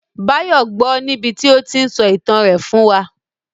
Báyọ̀ gbọ́ọ níbití ó tíí n sọ ìtàn rẹ̀ fún wa